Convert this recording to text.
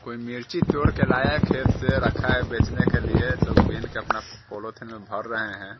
कोई मिर्ची तोर के लाया है खेत से रखा है बेचने के लिए लोग बीन के अपना पॉलिथीन मे भर रहे है।